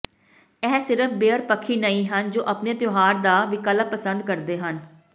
ਇਹ ਸਿਰਫ਼ ਬੀਅਰ ਪੱਖੀ ਨਹੀਂ ਹਨ ਜੋ ਆਪਣੇ ਤਿਉਹਾਰ ਦਾ ਵਿਕਲਪ ਪਸੰਦ ਕਰਦੇ ਹਨ